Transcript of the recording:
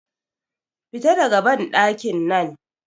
Fita daga banɗakin nan!